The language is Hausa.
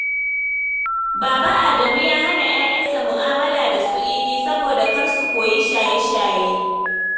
Baba Adamu ya hana ƴaƴansa mu'amala da su Idi saboda kar su ko yi shaye-shaye.